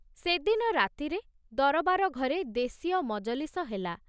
ସେ ଦିନ ରାତିରେ ଦରବାର ଘରେ ଦେଶୀୟ ମଜଲିସ ହେଲା।